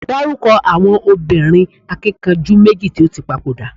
daruko àwọn obìnrin akikanju meji ti o ti papoda